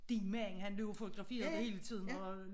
Din mand han blev fotograferet hele tiden og